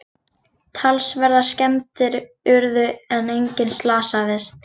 Talsverðar skemmdir urðu en enginn slasaðist